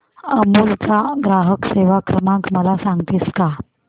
अमूल चा ग्राहक सेवा क्रमांक मला सांगतेस का